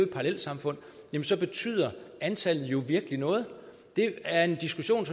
parallelsamfund og så betyder antallet jo virkelig noget det er en diskussion